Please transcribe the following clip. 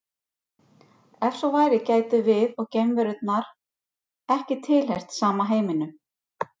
Ef svo væri gætum við og geimverunnar ekki tilheyrt sama heiminum.